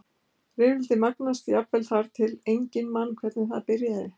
Rifrildið magnast jafnvel þar til sem enginn man hvernig það byrjaði.